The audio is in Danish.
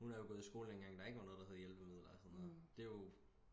hun er jo gået i skole dengang der ikke var noget der hed hjælpemidler og sådan noget det er jo